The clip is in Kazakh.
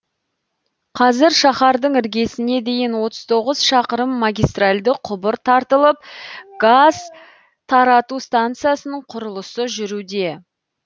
қазір шаһардың іргесіне дейін отыз тоғыз шақырым магистральді құбыр тартылып газ тарату станциясының құрылысы жүруде